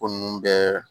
Ko nunnu bɛɛ